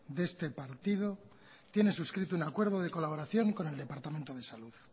de este partido tiene suscrito un acuerdo de colaboración con el departamento de salud